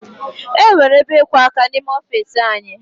E nwere ebe ịkwọ áká n'ime ọfiisi anyị